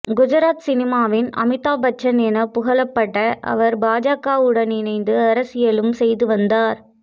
குஜராத் சினிமாவின் அமிதாப் பச்சன் என புகழப்பட்ட அவர் பாஜக உடன் இணைந்து அரசியலும் செய்துவந்தார்